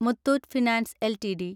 Muthoot finance LTD